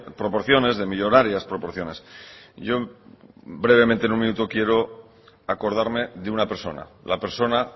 proporciones de millónarias proporciones yo brevemente en un minuto quiero acordarme de una persona la persona